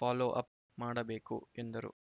follow up ಮಾಡಬೇಕು ಎಂದರು